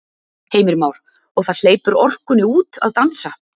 Heimir Már: Og það hleypur orkunni út að dansa?